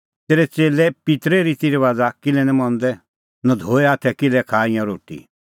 तेरै च़ेल्लै पित्तरे रितीरबाज़ किल्है निं मंदै नधोऐ हाथै किल्है खाआ ईंयां रोटी